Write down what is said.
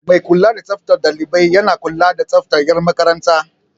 Mai kula da tsaftar ɗalibai yana kula da tsaftar 'yan makaranta.